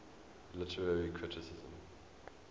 literary criticism